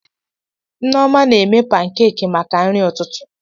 Nneoma na-eme pankeeki maka nri ụtụtụ.